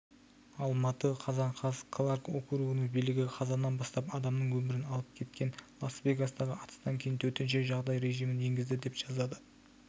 алматы қазан қаз кларк округінің билігі қазаннан бастап адамның өмірін алып кеткен лас-вегастағы атыстан кейін төтенше жағдай режимін енгізді деп жазады